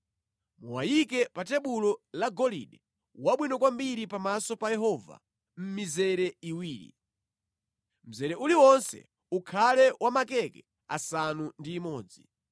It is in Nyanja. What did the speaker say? Muwayike pa tebulo la golide wabwino kwambiri pamaso pa Yehova mʼmizere iwiri. Mzere uliwonse ukhale wa makeke asanu ndi imodzi.